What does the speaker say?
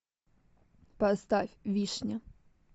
поставь вишня